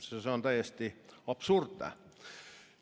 See on täiesti absurdne!